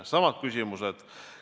Samad küsimused.